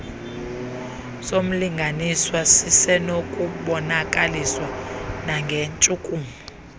somlinganiswa sisenokubonakaliswa nangentshukumo